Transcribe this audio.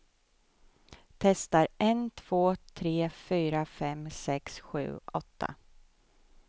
Testar en två tre fyra fem sex sju åtta.